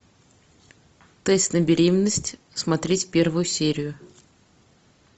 тест на беременность смотреть первую серию